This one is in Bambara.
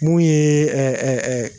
Mun ye ɛɛ